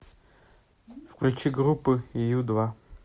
включи группу ю два